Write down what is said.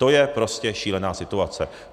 To je prostě šílená situace.